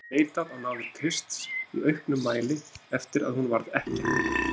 Hún hafði leitað á náðir Krists í auknum mæli eftir að hún varð ekkja.